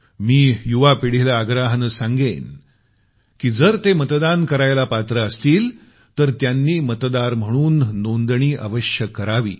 मी युवा पिढीला आग्रहाने सांगेन की जर ते मतदान करण्यास पात्र असतील तर त्यांनी मतदार म्हणून नोंदणी अवश्य करावी